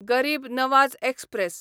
गरीब नवाज एक्सप्रॅस